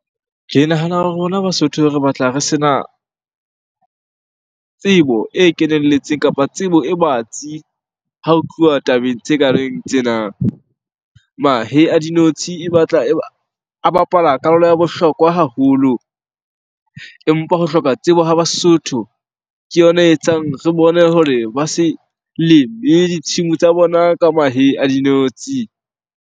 Ke nahana hore rona Basotho re batla re sena tsebo e kenelletseng kapa tsebo e batsi ha ho tluwa tabeng tse kareng tsena. Mahe a dinotshi e batla e ba, a bapala karolo ya bohlokwa haholo. Empa ho hloka tsebo ho Basotho ke yona e etsang re bone hore ba se leme ditshimo tsa bona ka mahe a dinotshi.